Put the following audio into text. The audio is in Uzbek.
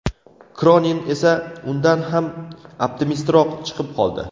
Kronin esa undan ham optimistroq chiqib qoldi.